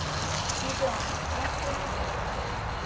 Gídeon, lækkaðu í hátalaranum.